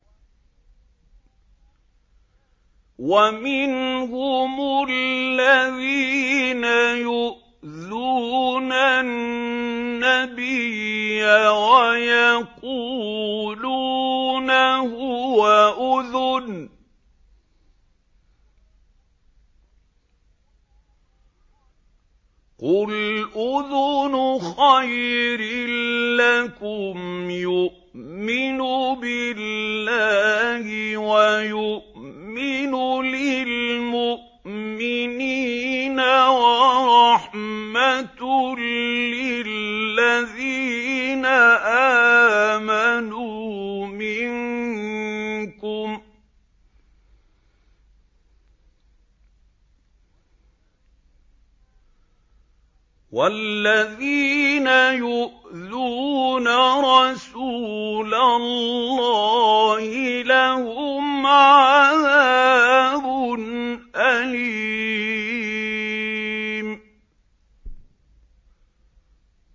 وَمِنْهُمُ الَّذِينَ يُؤْذُونَ النَّبِيَّ وَيَقُولُونَ هُوَ أُذُنٌ ۚ قُلْ أُذُنُ خَيْرٍ لَّكُمْ يُؤْمِنُ بِاللَّهِ وَيُؤْمِنُ لِلْمُؤْمِنِينَ وَرَحْمَةٌ لِّلَّذِينَ آمَنُوا مِنكُمْ ۚ وَالَّذِينَ يُؤْذُونَ رَسُولَ اللَّهِ لَهُمْ عَذَابٌ أَلِيمٌ